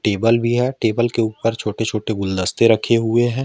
Table भी है table के ऊपर छोटे छोटे गुलदस्ते रखे हुए हैं।